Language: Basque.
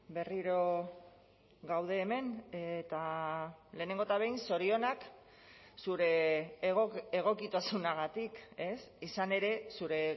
berriro gaude hemen eta lehenengo eta behin zorionak zure egokitasunagatik ez izan ere zure